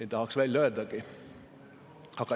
Ei tahaks välja öeldagi.